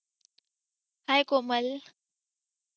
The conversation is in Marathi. hi कोमल